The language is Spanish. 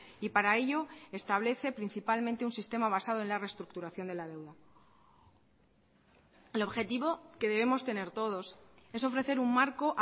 y para ello establece principalmente un sistema basado en la reestructuración de la deuda el objetivo que debemos tener todos es ofrecer un marco